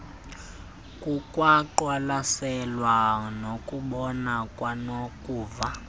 kukwaqwalaselwa nokubona kwanokuva